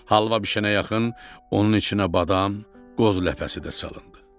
Halva bişənə yaxın onun içinə badam, qoz ləpəsi də salındı.